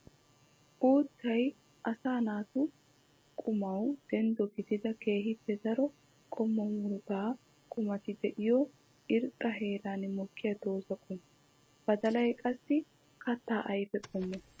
Uuttay asaa naatu qumawu denddo gididda keehippe daro qommo murutta qumatti giigiyo irxxa heeran mokkiya dooza qommo. Badallay qassi katta ayfe qommo.